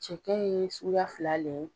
Cɛkɛ ye suguya fila le ye.